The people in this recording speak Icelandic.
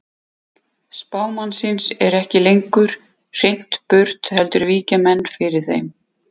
Spámannsins er ekki lengur hrint burt heldur víkja menn fyrir þeim.